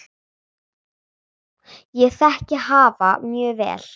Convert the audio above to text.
Ég þekki hafa mjög vel.